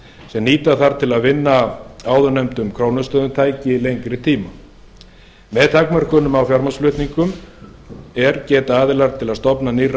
sem nýta þarf til að vinna á áðurnefndum krónustöðum tæki lengri tíma með takmörkunum á fjármagnsflutningum er geta aðila til að stofna til nýrra